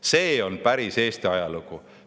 See on päris Eesti ajalugu.